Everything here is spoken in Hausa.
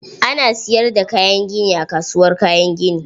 Ana siyar da kayan gini a kasuwar Kayan gini.